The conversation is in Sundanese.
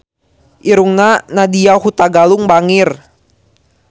Irungna Nadya Hutagalung bangir